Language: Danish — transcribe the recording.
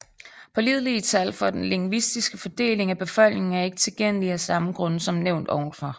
Pålidelige tal for den lingvistiske fordeling af befolkningen er ikke tilgængelige af samme grunde som nævnt ovenfor